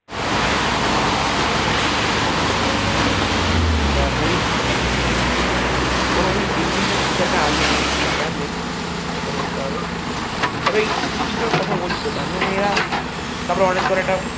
ও মানে দিল্লি না কিসে এক আছে আমার ঠিক খেয়াল নেই দেখে বলতে হবে তবে এই দু তিন জনের কথা বলছি তোকে আমি মানে